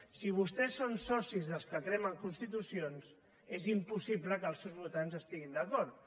si vostès són socis dels que cremen constitucions és impossible que els seus votants hi estiguin d’acord